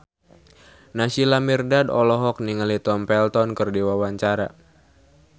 Naysila Mirdad olohok ningali Tom Felton keur diwawancara